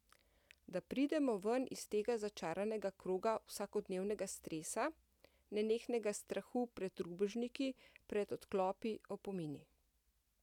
Da pridemo ven iz tega začaranega kroga vsakodnevnega stresa, nenehnega strahu pred rubežniki, pred odklopi, opomini.